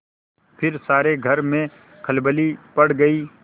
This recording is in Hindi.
फिर सारे घर में खलबली पड़ गयी